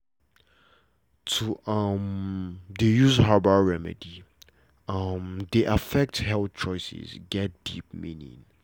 to um dey use herbal remedy um dey affect health choices get deep meaning